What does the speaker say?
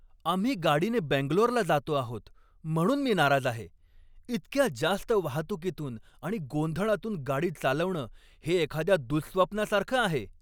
आम्ही गाडीने बेंगलोरला जातो आहोत म्हणून मी नाराज आहे. इतक्या जास्त वाहतुकीतून आणि गोंधळातून गाडी चालवणं हे एखाद्या दुःस्वप्नासारखं आहे!